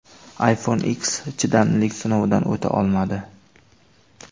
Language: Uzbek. iPhone X chidamlilik sinovidan o‘ta olmadi.